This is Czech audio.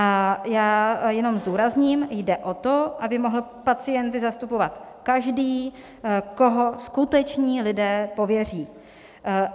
A já jenom zdůrazním: jde o to, aby mohl pacienty zastupovat každý, koho skuteční lidé pověří.